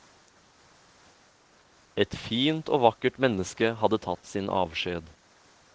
Et fint og vakkert menneske hadde tatt sin avskjed.